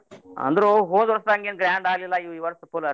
ಅಂದ್ರು ಹೋದ್ ವರ್ಷ್ ಹಂಗ ಏನ್ grand ಆಲಿಲ್ಲಾ ಈ ವರ್ಷ್ full ಆಟ್.